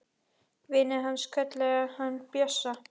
Vinir hans kölluðu hann Bjössa.